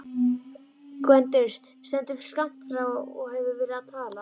Gvendur stendur skammt frá og hefur verið að tala.